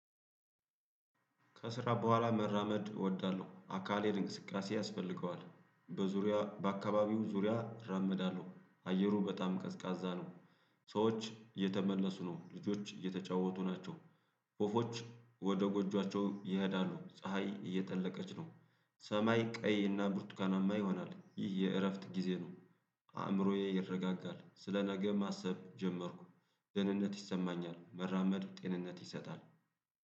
ከስራ በኋላ መራመድ እወዳለሁ አካሌ እንቅስቃሴ ያስፈልገዋል በዙሪያ በአካባቢው ዙሪያ እራመዳለሁ አየሩ በጣም ቀዝቃዛ ነው። ሰዎች እተመለሱ ነው ልጆች እየተጫወቱ ናቸው። ወፎች ወደ ጎጆአቸው ይሄዳሉ ፀሀይ እየጠለቀች ነው። ሰማይ ቀይ እና ብርቱካናማ ይሆናል ይህ የእረፍት ጊዜ ነው። አእምሮዬ ይረጋጋል ስለ ነገ ማሰብ ጀመርኩ። ደህንነት ይሰማኛል መራመዱ ጤንነት ይሰጣል።